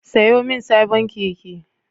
Sayo min sabon keke